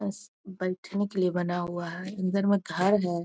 बैठने के लिए बना हुआ है अंदर में घर है ।.